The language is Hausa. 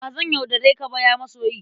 Ba zan yaudare ka ba, ya masoyi!